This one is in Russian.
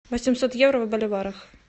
восемьсот евро в боливарах